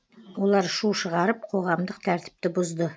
олар шу шығарып қоғамдық тәртіпті бұзды